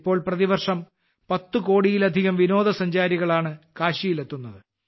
ഇപ്പോൾ പ്രതിവർഷം 10 കോടിയിലധികം വിനോദസഞ്ചാരികളാണ് കാശിയിലെത്തുന്നത്